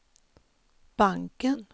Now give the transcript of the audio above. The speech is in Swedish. banken